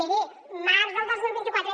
miri març del dos mil vint quatre